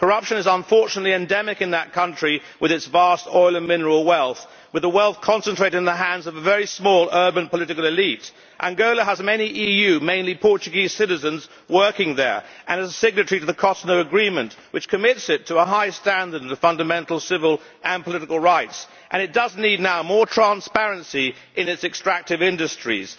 Corruption is unfortunately endemic in that country with its vast oil and mineral wealth, with the wealth concentrated in the hands of a very small urban political elite. Angola has many EU mainly Portuguese citizens working there and is a signatory to the Cotonou Agreement which commits it to a high standard of fundamental civil and political rights, and it does need now more transparency in its extractive industries.